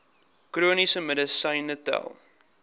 chroniese medisyne tel